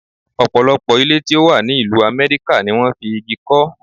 Ọ̀pọ̀lọpọ̀ ilé tí ó wà ní ìlú Amẹ́ríkà ni wón fi igi kọ́.